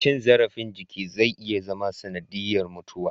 Cin zarafin jiki zai iya zama sanadiyar mutuwa